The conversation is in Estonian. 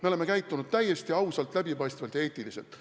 Me oleme käitunud täiesti ausalt, läbipaistvalt ja eetiliselt.